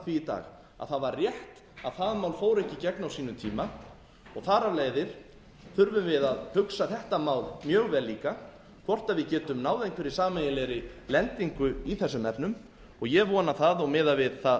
í dag að það var rétt að það mál fór ekki í gegn á sínum tíma og þar af leiðir þurfum við að hugsa þetta mál mjög vel líka hvort við getum náð einhverri sameiginlegri lendingu í þessum efnum ég vona það og miðað við það